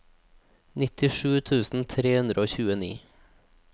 nittisju tusen tre hundre og tjueni